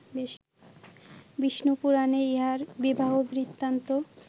বিষ্ণুপুরাণে ইঁহার বিবাহবৃত্তান্ত